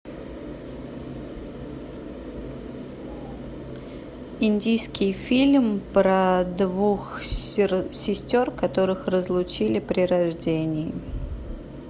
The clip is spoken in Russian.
индийский фильм про двух сестер которых разлучили при рождении